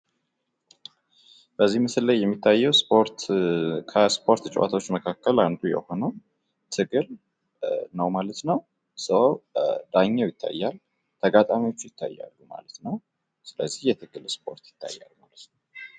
ምስሉ ላይ የምንመለከተው ከስፖርት ጨዋታዎች መካከል አንዱ የሆነው ትግል ነው ማለት ነው ።ዳኛው ይታያል፣ ተጋጣሚዎች ይታያሉ። ስለዚህ ትግል ነው ።